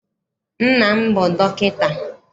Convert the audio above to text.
Nna m bụ dọkịta.